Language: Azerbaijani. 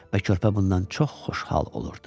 və körpə bundan çox xoşhal olurdu.